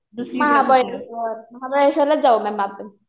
महाबळेशवर. महाबळेश्ववरलाच जाऊ मॅम आपण.